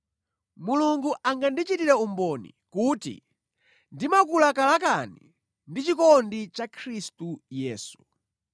Mulungu angandichitire umboni kuti ndimakulakalakani ndi chikondi cha Khristu Yesu.